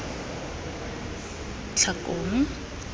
tlhakong